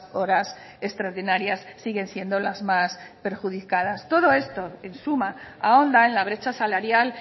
horas extraordinarias siguen siendo las más perjudicadas todo esto en suma ahonda en la brecha salarial